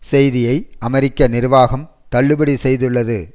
செய்தியை அமெரிக்க நிர்வாகம் தள்ளுபடி செய்துள்ளது